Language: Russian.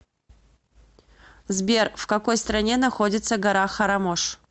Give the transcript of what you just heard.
сбер в какой стране находится гора харамош